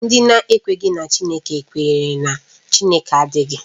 Ndị na-ekweghị na Chineke kwere na Chineke adịghị